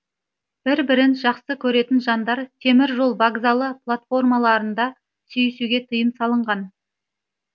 бір бірін жақсы көретін жандар темір жол вокзалы платформаларында сүйісуге тыйым салынған